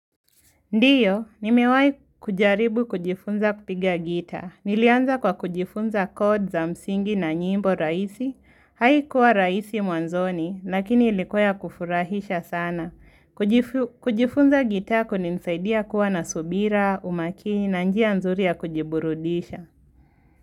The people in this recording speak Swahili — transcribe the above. Ndiyo, nimewai kujaribu kujifunza kupiga gita. Nilianza kwa kujifunza kod za msingi na nyimbo rahisi. Haikuwa raisi mwanzoni, lakini ilikuwa ya kufurahisha sana. Kujifunza gita kulinisaidia kuwa na subira, umakini na njia nzuri ya kujiburudisha.